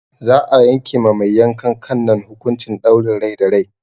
Za'a yanke ma mai yankan kan nan hukuncin ɗaurin rai da rai.